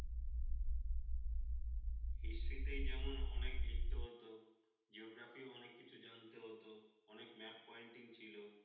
history তে যেমন অনেক লিখতে হতো, geography ও অনেক কিছু জানতে হত অনেক map pointing ছিল,